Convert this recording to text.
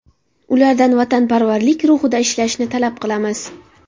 Ulardan vatanparvarlik ruhida ishlashni talab qilamiz”.